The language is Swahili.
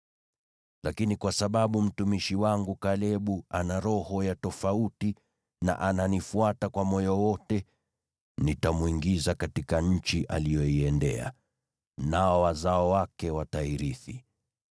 Lakini kwa sababu mtumishi wangu Kalebu ana roho ya tofauti na ananifuata kwa moyo wote, nitamwingiza katika nchi aliyoiendea, nao wazao wake watairithi.